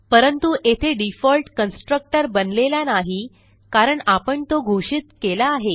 परंतु येथे default constructor बनलेला नाही कारण आपण तो घोषित केला आहे